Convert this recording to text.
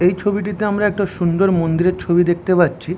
এই ছবিটিতে আমরা একটা সুন্দর মন্দিরের ছবি দেখতে পাচ্ছি।